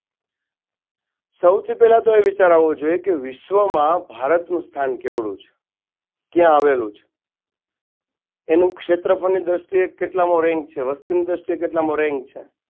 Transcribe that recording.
સૌથી પહેલા તો એ વિચાર આવો જોઈએ કે વિશ્વમાં ભારતનું સ્થાન કેવળુ છે? કયા આવેલું છે? એનું ક્ષેત્રફળની દ્રષ્ટિએ કેટલામો rank છે વસતિની દ્રષ્ટિએ કેટલામો rank છે?